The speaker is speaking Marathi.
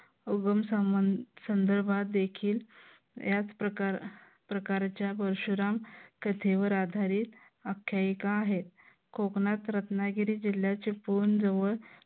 उगम संदर्भात देखील याच प्रकार प्रकारच्या परशुराम कथेवर आधारित आख्यायिका आहे. कोकणात रत्नागिरी जिल्ह्याचे पूर्ण जवळ